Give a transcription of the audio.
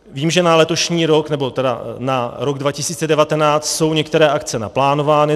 Vím, že na letošní rok, nebo tedy na rok 2019, jsou některé akce naplánovány.